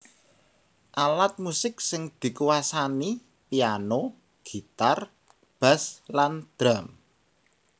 Alat musik sing dikuwasani piano gitar bass lan drum